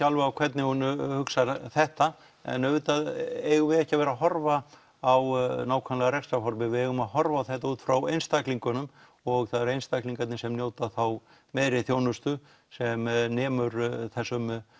alveg á hvernig hún hugsar þetta en auðvitað eigum við ekki að vera að horfa á nákvæmlega rekstrarformið við eigum að horfa á þetta út frá einstaklingunum og það eru einstaklingarnir sem njóta þá meiri þjónustu sem nemur þessum